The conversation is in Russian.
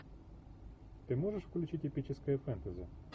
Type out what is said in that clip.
ты можешь включить эпическое фэнтези